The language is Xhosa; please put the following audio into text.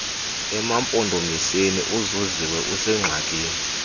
emampondomiseni uzuziwe usengxakini